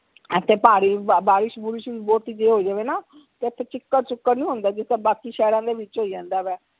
ਐ ਤੇ ਭਾਰੀ ਬਾਰਿਸ਼ ਬੁਰਿਸ਼ ਵੀ ਬੁਹਤੀ ਜੇ ਹੋ ਜਾਵੇ ਨਾ ਤੇ ਇਥੇ ਚਿੱਕੜ ਚੁਕੱਰ ਨੀ ਹੁੰਦਾ ਜਿੰਦਾ ਬਾਕੀ ਸ਼ਹਿਰਾਂ ਦੇ ਵਿਚ ਹੋ ਜਾਂਦਾ ਵਾ